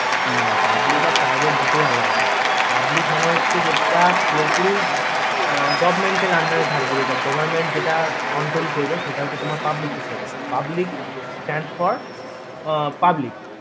না public আর private দুটোই আলাদা public মানে হচ্ছে যেটা পুরোপুরি government এর under রে থাকবে যেটা goverment যেটা control করবে সেটা হচ্ছে তোমার public sector এ public stand for public